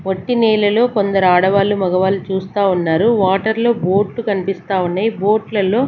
వట్టి నీళ్ళలో కొందరు ఆడవాళ్ళు మొగవాళ్ళు చూస్తా ఉన్నారు వాటర్ లో బోట్లు కనిపిస్తా ఉన్నాయి బోట్ల లో.